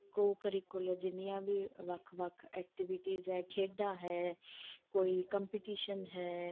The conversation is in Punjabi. ਕੋਲ ਜਿੰਨੀਆਂ ਵੀ ਵੱਖ ਵੱਖ activities ਹੈ ਖੇਡਾਂ ਹੈ ਕੋਈ competition ਹੈ